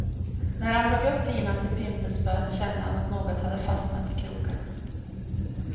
När han drog upp linan till pimpelspöt, kände han att något hade fastnat i krokarna.